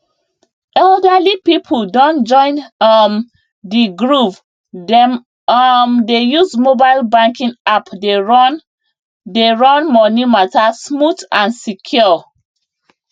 elderly people don join um the groovedem um dey use mobile banking app dey run dey run money matter smooth and secure